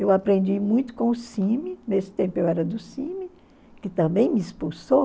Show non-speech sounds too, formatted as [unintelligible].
Eu aprendi muito com o [unintelligible] nesse tempo eu era do [unintelligible] que também me expulsou.